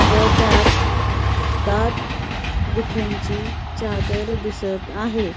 व त्यात दाट धुक्यांची चादर दिसत आहे.